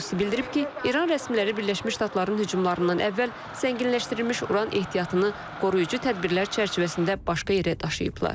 Qrossi bildirib ki, İran rəsmiləri Birləşmiş Ştatların hücumlarından əvvəl zənginləşdirilmiş uran ehtiyatını qoruyucu tədbirlər çərçivəsində başqa yerə daşıyıblar.